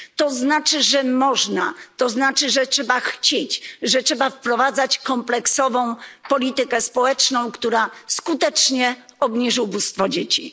To znaczy, że można, to znaczy, że trzeba chcieć, że trzeba wprowadzać kompleksową politykę społeczną, która skutecznie obniży ubóstwo dzieci.